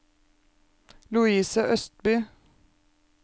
Louise Østby